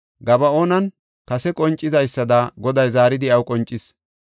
Gaba7oonan kase qoncidaysada Goday zaaridi iyaw qoncis.